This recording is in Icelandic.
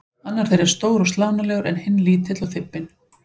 Annar þeirra er stór og slánalegur en hinn lítill og þybbinn.